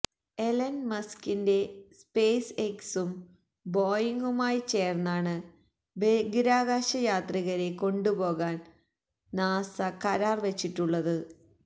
Elon മസ്കിന്റെ space എക്സും ബോയിംഗുമായി ചേര്ന്നാണ് ബഹിരാകാശയാത്രികരെ കൊണ്ടുപോകാന് നാസ കരാര് വെച്ചിട്ടുള്ളത്